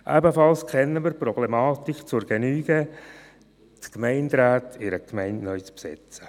Ebenfalls kennen wir die Problematik zur Genüge, die Gemeinderäte in einer Gemeinde neu zu besetzen.